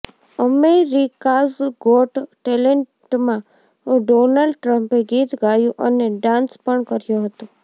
America's got ટેલેન્ટમાં Donald ટ્રમ્પે ગીત ગાયું અને ડાન્સ પણ કર્યો હતો